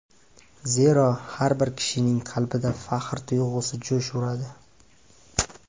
Zero, har bir kishining qalbida faxr tuyg‘usi jo‘sh uradi.